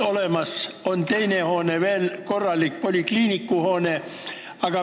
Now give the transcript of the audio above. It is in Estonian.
Ja on teine hoone veel, korralik polikliinikuhoone.